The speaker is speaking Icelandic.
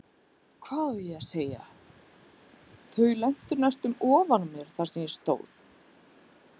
Hvað á ég að segja, þau lentu næstum ofan á mér þar sem ég stóð.